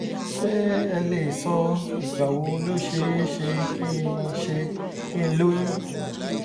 ṣé ẹ lè sọ ìgbà wo ló ṣe é ṣe kí n ṣe kí n lóyún?